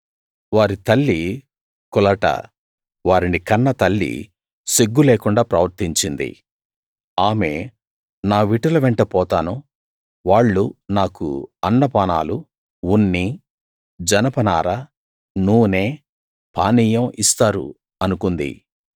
వారి తల్లి కులట వారిని కన్నతల్లి సిగ్గు లేకుండా ప్రవర్తించింది ఆమె నా విటుల వెంట పోతాను వాళ్ళు నాకు అన్నపానాలు ఉన్ని జనపనార నూనె పానీయం ఇస్తారు అనుకుంది